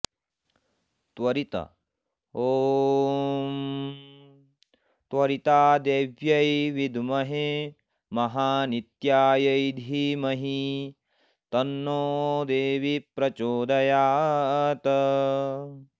त्वरित ॐ त्वरितादेव्यै विद्महे महानित्यायै धीमहि तन्नो देवी प्रचोदयात्